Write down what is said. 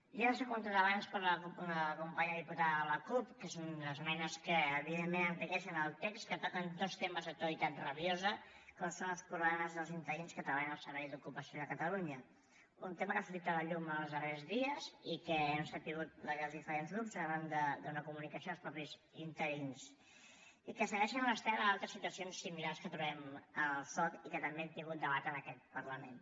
ja s’ha comentat abans per la companya diputada de la cup que són unes esmenes que evidentment enriqueixen el text que toquen dos temes d’actualitat rabiosa com són els problemes dels interins que treballen al servei d’ocupació de catalunya un tema que ha sortit a la llum els darrers dies i que hem sabut els diferents grups arran d’una comunicació dels mateixos interins i que segueix l’estela d’altres situacions similars que trobem al soc i que també hem tingut debat en aquest parlament